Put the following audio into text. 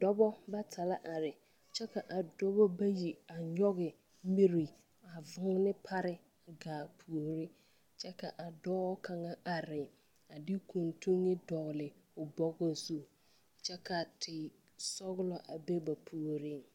Dɔba bata la are kyɛ k,a dɔba bayi a nyɔge miri a voone pare gaa puori kyɛ k,a dɔɔ kaŋa are a de kuntuŋ dɔgle o bɔgɔ zu kyɛ ka tesɔglɔ a be ba puoriŋ.